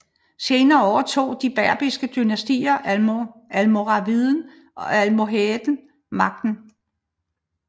Senere overtog de berbiske dynastier Almoraviden og Almohaden magten